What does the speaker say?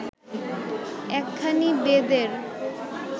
একখানি বেদের